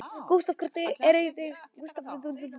Gústav, hvernig er dagskráin í dag?